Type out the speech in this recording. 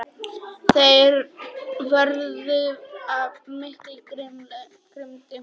Þeir vörðust af mikilli grimmd.